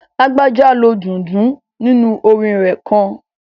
Lágbájá lo dundun nínu orin rẹ̀ kan